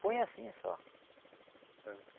Põe assim só.